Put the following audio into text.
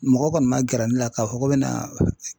Mɔgɔ kɔni ma gɛrɛ ne la k'a fɔ ko bɛ na